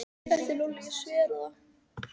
Þetta er Lúlli, ég sver það.